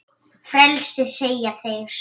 Frelsi segja þeir.